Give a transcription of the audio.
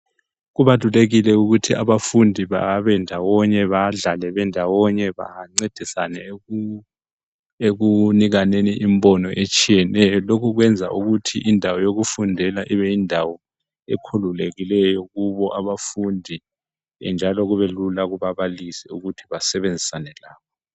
Kubalulekile ukuthi abafundi babendawonye badlale ndawonye bancedisane ekunikaneni imibono etshiyeneyo, lokhu kwenza ukuthi indawo yokufundela ibeyindawo ekhululekileyo Kubo abafundi njalo kube lula kubabalisi ukuthi basebenzisane labo.